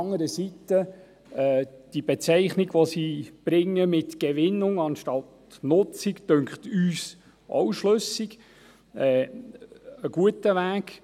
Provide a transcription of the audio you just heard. Andererseits finden wir die Bezeichnung, die sie mit «Gewinnung» anstatt «Nutzung» bringt, auch schlüssig, einen guten Weg.